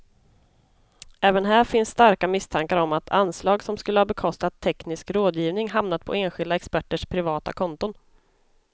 Även här finns starka misstankar om att anslag som skulle ha bekostat teknisk rådgivning hamnat på enskilda experters privata konton.